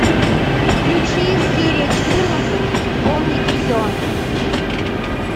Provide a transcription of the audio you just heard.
включи серия четырнадцать помнить все